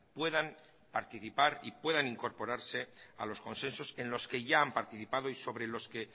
puedan participar y puedan incorporarse a los consensos en los que ya han participado y sobre los que